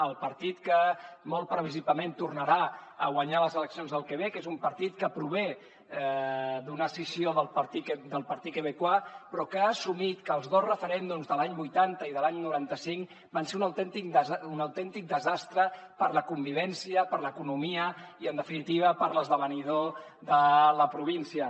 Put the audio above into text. el partit que molt previsiblement tornarà a guanyar les eleccions del quebec és un partit que prové d’una escissió del partit québécois però que ha assumit que els dos referèndums de l’any vuitanta i de l’any noranta cinc van ser un autèntic desastre per a la convivència per a l’economia i en definitiva per a l’esdevenidor de la província